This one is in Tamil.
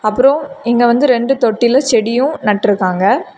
அப்ரம் இங்க வந்து ரெண்டு தொட்டியில செடியும் நட்ருக்காங்க.